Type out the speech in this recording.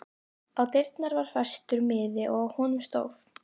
Á dyrnar var festur miði og á honum stóð